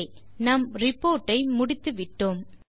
okay நம் report ஐ முடித்துவிட்டோம்